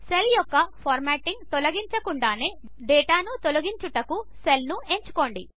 cell యొక్క formatting తొలగించకుండా డేటాను తొలగించుటకు సెల్ను ఎంచుకోండి